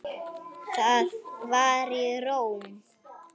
Það var í Róm.